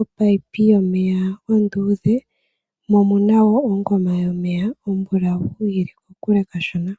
opayipi yomeya onduudhe mo omuna wo ongoma yomeya ombulawu yili kokule kashona.